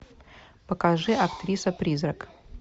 покажи актриса призрак